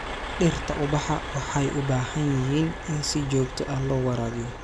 Dhirta ubaxa waxay u baahan yihiin in si joogto ah loo waraabiyo.